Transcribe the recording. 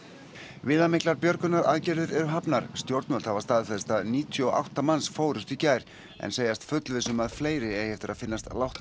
viðamiklar björgunaraðgerðir eru hafnar stjórnvöld hafa staðfest að níutíu og átta manns fórust í gær en segjast fullviss um að fleiri eigi eftir að finnast látnir